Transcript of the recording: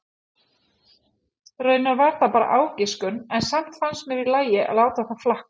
Raunar var það bara ágiskun en samt fannst mér í lagi að láta það flakka.